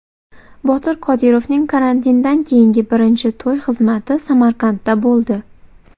Botir Qodirovning karantindan keyingi birinchi to‘y xizmati Samarqandda bo‘ldi.